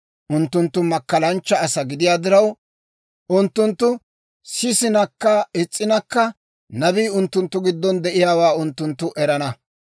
Unttunttu makkalanchcha asaa gidiyaa diraw, unttunttu sisinakka is's'inakka, nabii unttunttu giddon de'iyaawaa unttunttu erana.